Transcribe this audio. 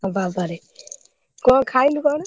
ବାବାରେ କଣ ଖାଇଲୁ କଣ?